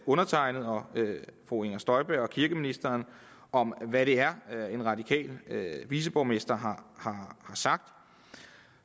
undertegnede og fru inger støjberg og kirkeministeren om hvad det er en radikal viceborgmester har sagt